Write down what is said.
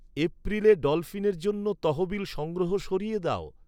এপ্রিলে ডলফিনের জন্য তহবিল সংগ্রহ সরিয়ে দাও